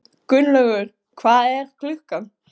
Gunnlaugur, hvað er klukkan?